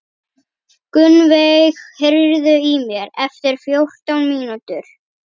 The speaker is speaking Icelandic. Gunnveig, heyrðu í mér eftir fjórtán mínútur.